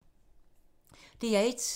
DR1